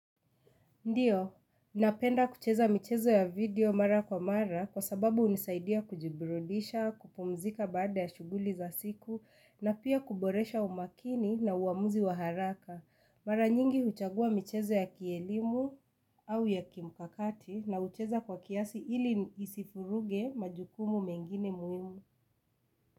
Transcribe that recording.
Ndiyo, napenda kucheza michezo ya video mara kwa mara kwa sababu unisaidia kujiburudisha, kupumzika baada ya shuguli za siku na pia kuboresha umakini na uamuzi waharaka. Mara nyingi huchagua michezo ya kielimu au ya kimkakati na ucheza kwa kiasi ili isifuruge majukumu mengine muimu.